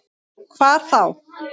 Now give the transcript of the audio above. Hvar þá?